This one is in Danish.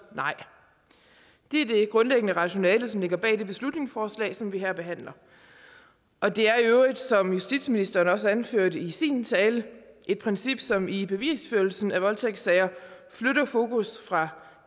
nej det er det grundlæggende rationale som ligger bag det beslutningsforslag som vi her behandler og det er i øvrigt som justitsministeren også anførte i sin tale et princip som i bevisførelsen i voldtægtssager flytter fokus fra